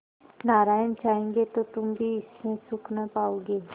नारायण चाहेंगे तो तुम भी इससे सुख न पाओगे